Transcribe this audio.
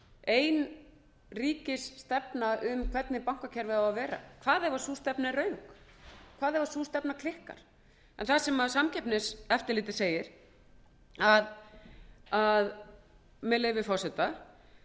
ein ríkisstefna um hvernig bankakerfið eigi að vera hvað ef sú stefna er röng hvað ef sú stefna klikkar samkeppniseftirlitið segir með leyfi forseta